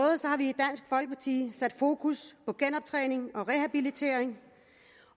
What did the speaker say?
i dansk sat fokus på genoptræning og rehabilitering